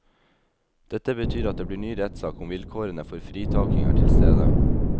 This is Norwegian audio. Dette betyr at det blir ny rettssak om vilkårene for fritaking er tilstede.